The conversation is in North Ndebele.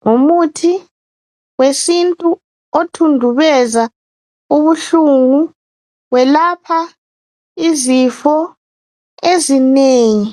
Ngumuthi wesintu othundubeza ubuhlungu welapha izifo ezinengi